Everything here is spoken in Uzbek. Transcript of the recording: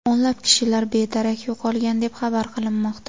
O‘nlab kishilar bedarak yo‘qolgan deb xabar qilinmoqda.